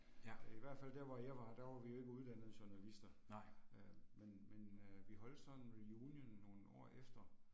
Øh i hvert fald der hvor jeg var, der var vi jo ikke uddannede journalister. Øh men men øh vi holdt sådan en reunion nogle år efter